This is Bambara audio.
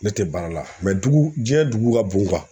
Ne tɛ baara la dugu diɲɛ dugu ka bon